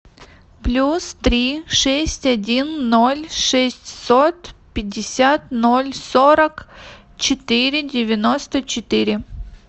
плюс три шесть один ноль шестьсот пятьдесят ноль сорок четыре девяносто четыре